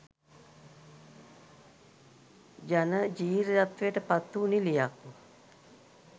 ජනපි්‍රයත්වයට පත්වූ නිළියක්